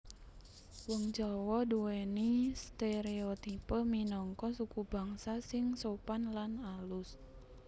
Wong Jawa nduwèni stereotipe minangka sukubangsa sing sopan lan alus